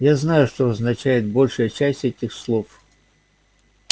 я знаю что означает большая часть этих слов